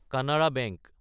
Canara bank